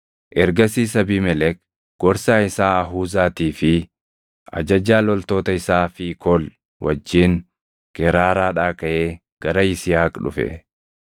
Ergasiis Abiimelek gorsaa isaa Ahuzaatii fi ajajaa loltoota isaa Fiikool wajjin Geraaraadhaa kaʼee gara Yisihaaq dhufe.